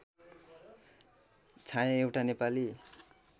छाया एउटा नेपाली